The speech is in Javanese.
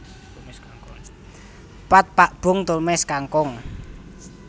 Pad Pak boong tumis kangkung